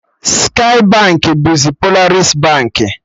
Skye Baankị bụzi Polaris Baankị